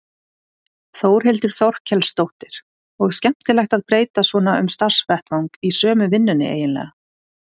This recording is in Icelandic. Þórhildur Þorkelsdóttir: Og skemmtilegt að breyta svona um starfsvettvang í sömu vinnunni eiginlega?